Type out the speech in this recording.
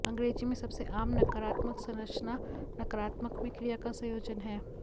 अंग्रेजी में सबसे आम नकारात्मक संरचना नकारात्मक में क्रिया का संयोजन है